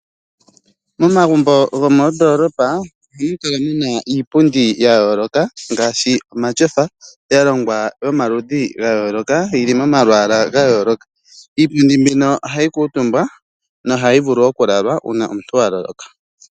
Momagumbo gomoondoolopa, ohamu kala mu na iipundi ya yooloka ngaashi omatyofa, ya longwa yomaludhi ga yooloka, yi li momalwaala ga yooloka. Iipundi mbyono ohayi kuutumbwa, nohayi vulu okulalwa uuna omuntu a loloka.